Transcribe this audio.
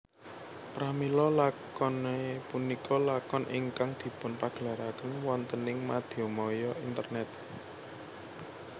Pramila lakonet punika lakon ingkang dipunpagelaraken wontening mediamaya internet